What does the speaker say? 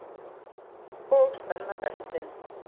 Og spenna beltin.